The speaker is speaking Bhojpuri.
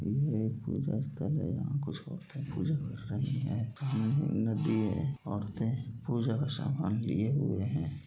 इ एक‌‌ पूजास्थल है यहाँ कुछ‌‌‌ औरतें पूजा कर‌ रही हैं और‌‌‌‌तें पूजा का‌ सामान लिए हुए हैं।